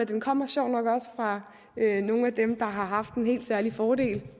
den kommer sjovt nok også fra nogle af dem der har haft en helt særlig fordel